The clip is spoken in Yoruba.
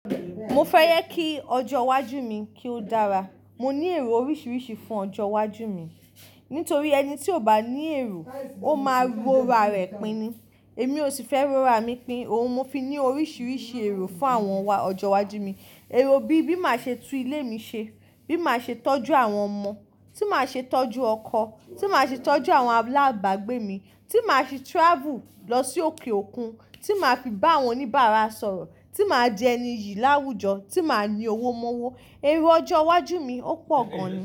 Mo fẹ́ yẹ kí ọjọ́ iwájú mi kí ó dára. Mo ní èrò oríṣiríṣi fún ọjọ́ iwájú mi. Nítorí ẹni tí ò bá ní èrò ó máa ro ara rẹ̀ pín ni. Èmi ò sì fẹ́ ro ara mi pín ni. Òun mo fi ní oríṣiríṣi èrò fún àwọn ọjọ́ iwájú mi. Èrò bí má ṣe tún ilé mi ṣe, bí má ṣe tọ́jú àwọn ọmọ, tí má ṣe tọ́jú ọkọ, tí má ṣe tọ́jú àwọn alágbàgbé mi, tí màá ṣe travel lọ sí òkè òkun, tí màá fi bá àwọn oníbàárà sọ̀rọ̀, tí màá jẹ́ ẹniyi ìáwújọ, tí màá ní owó mọ́wọ́. Èrò ọjọ́ iwájú mi ó pọ̀ gan ni.